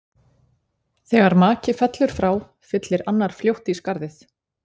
Þegar maki fellur frá, fyllir annar fljótt í skarðið.